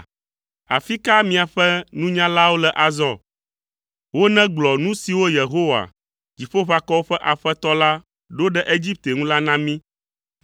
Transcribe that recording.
Afi ka miaƒe nunyalawo le azɔ. Wonegblɔ nu siwo Yehowa, Dziƒoʋakɔwo ƒe Aƒetɔ la, ɖo ɖe Egipte ŋu la na mí.